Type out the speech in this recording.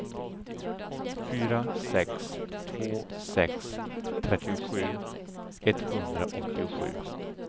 fyra sex två sex trettiosju etthundraåttiosju